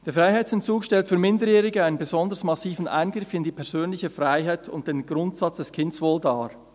«Der Freiheitsentzug stellt für Minderjährige einen besonders massiven Eingriff in die persönliche Freiheit und in den Grundsatz des Kindeswohls dar.